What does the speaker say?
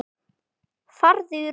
Farðu í ró.